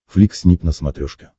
флик снип на смотрешке